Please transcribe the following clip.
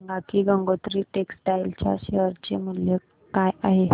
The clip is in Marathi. हे सांगा की गंगोत्री टेक्स्टाइल च्या शेअर चे मूल्य काय आहे